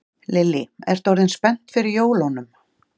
Lillý: Ertu orðin spennt fyrir jólunum?